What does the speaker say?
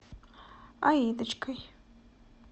аидочкой